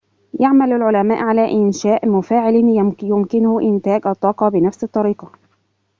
يعمل العلماء على إنشاءِ مفاعلٍ يمكنه إنتاج الطاقة بنفس الطريقة